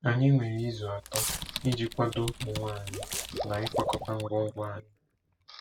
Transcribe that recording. Anyị nwere izu atọ iji kwado onwe anyị na ịkwakọta ngwongwo anyị.